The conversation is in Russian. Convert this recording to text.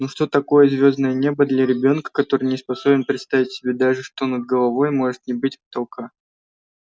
но что такое звёздное небо для ребёнка который не способен представить себе даже что над головой может не быть потолка